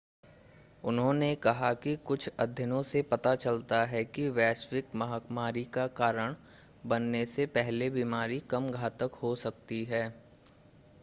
उन्होंने कहा कि कुछ अध्ययनों से पता चलता है कि वैश्विक महामारी का कारण बनने से पहले बीमारी कम घातक हो सकती है